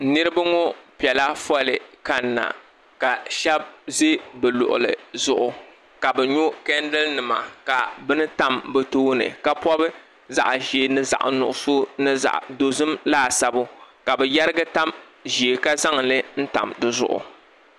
Niriba ŋɔ piɛla foolii n kanna ka sheba ʒi bɛ luɣuli zuɣu ka bɛ nyɔ chendiri nima ka bini tam bɛ tooni ka bini pobi zaɣa ʒee ni zaɣa nuɣuso ni zaɣa dozim laasabu ka bɛ yerigi tanʒee ka zaŋli tam dizuɣu.